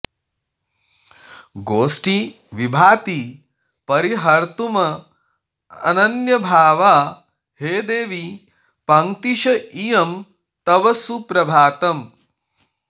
गोष्ठी विभाति परिहर्तुमनन्यभावा हे देवि पङ्क्तिश इयं तव सुप्रभातम्